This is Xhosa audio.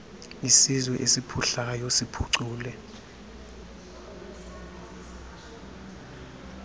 isizwe esiphuhlayo siphucule